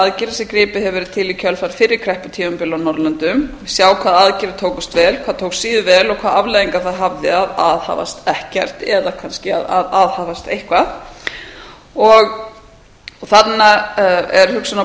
aðgerðir sem gripið hefur árið til í kjölfar fyrri krepputímabila á norðurlöndum sjá hvaða aðgerðir tókust vel hvað tókst síður vel og hvaða afleiðingar það hafði að aðhafast ekkert eða kannski að aðhafast eitthvað þarna er hugsunin að